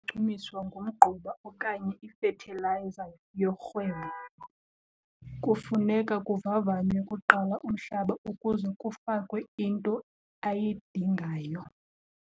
ngumgquba okanye ifethilayiza yorhwebo. Kufuneka kuvavanywe kuqala umhlaba ukuze kufakwe into ayidingayo.